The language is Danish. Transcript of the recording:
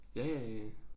Ja ja ja